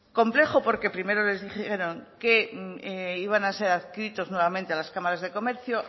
complejo porque primero les dijeron que iban a ser adscritos nuevamente a las cámaras de comercio